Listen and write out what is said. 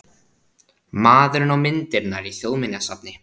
Maðurinn og myndirnar í Þjóðminjasafni